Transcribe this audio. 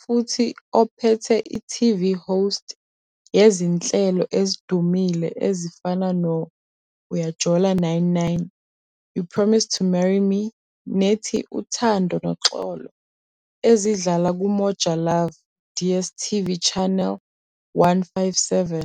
futhi ophethe i-TV Host yezinhlelo ezidumile ezifana no-Uyajola 9-9, You Promised to Marry Me nethi Uthando Noxolo ezidlala kuMojalove DSTV Channel 157.